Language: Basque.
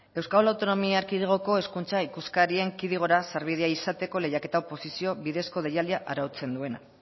euskal autonomia erkidegoko hezkuntza ikuskarien kidegora sarbidea izateko lehiaketa oposizio bidez deialdia arautzen duena